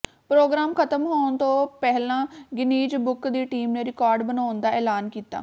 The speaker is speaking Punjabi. ਪ੍ਰੋਗਰਾਮ ਖਤਮ ਹੋਣ ਤੋਂ ਪਹਿਲਾਂ ਗਿੰਨੀਜ਼ ਬੁੱਕ ਦੀ ਟੀਮ ਨੇ ਰਿਕਾਰਡ ਬਣਾਉਣ ਦਾ ਐਲਾਨ ਕੀਤਾ